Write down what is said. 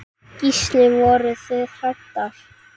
Gísli: Voruð þið hræddar?